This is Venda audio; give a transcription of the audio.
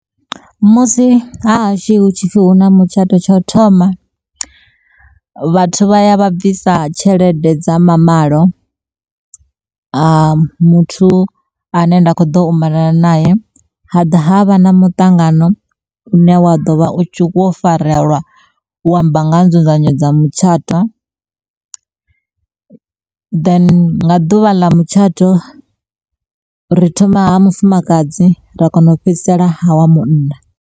Musi hahashu hu tshipfhi huna mutshato tsha u thoma, vhathu vha ya vha bvisa tshelede dza mamalo, ha muthu ane nda kho ḓo malana nae ha ḓa havha na muṱangano une wa ḓo vha u tshi farelwa u amba nga ha nzudzanyo dza mutshato. Then nga ḓuvha ḽa mutshato ri thoma ha mufumakadzi ra kona u fhedzisela ha wa munna.